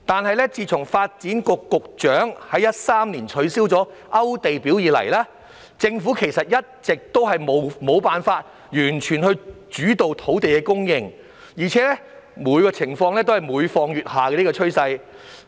然而，自發展局局長在2013年取消"勾地表"以來，政府其實一直無法完全主導土地供應，而情況有每況愈下的趨勢。